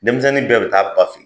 Denmisɛnnin bɛɛ bi taa ba fe yen.